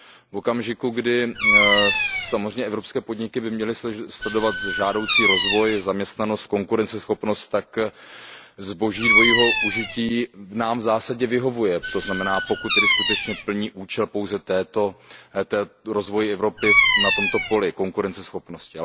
V okamžiku, kdy samozřejmě evropské podniky by měly sledovat žádoucí rozvoj, zaměstnanost, konkurenceschopnost, tak zboží dvojího užití nám v zásadě vyhovuje, to znamená, pokud skutečně plní účel rozvoje Evropy na tomto poli konkurenceschopnosti.